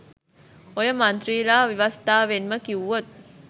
ඔය මන්ත්‍රීලා ව්‍යවස්ථවෙන්ම කිව්වොත්